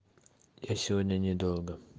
я сегодня недолго